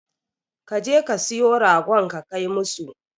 Ka je ka siyo ragon ka kai musu.